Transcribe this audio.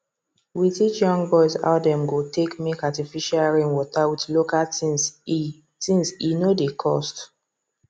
we teach young boys how dem go take make artificial rain water with local thingse thingse no dey cost